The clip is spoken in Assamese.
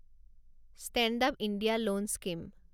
stand up India loan scheme